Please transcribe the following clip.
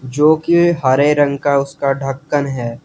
जो की हरे रंग का उसका ढक्कन है।